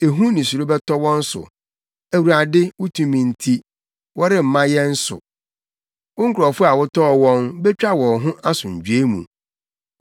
Ehu ne suro bɛtɔ wɔn so. Awurade, wo tumi nti, wɔremma yɛn so! Wo nkurɔfo a wotɔɔ wɔn Betwa wɔn ho asomdwoe mu.